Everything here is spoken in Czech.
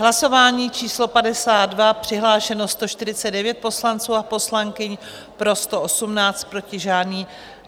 Hlasování číslo 52, přihlášeno 149 poslanců a poslankyň, pro 118, proti žádný.